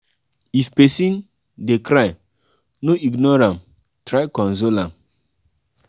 if pesin um dey cry no ignore am try console am.